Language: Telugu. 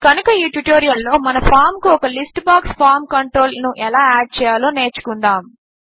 కనుక ఈ ట్యుటోరియల్ లో మన ఫామ్ కు ఒక లిస్ట్ బాక్స్ ఫార్మ్ కంట్రోల్ ను ఎలా యాడ్ చేయాలో నేర్చుకుందాము